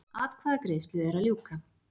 Atkvæðagreiðslu er að ljúka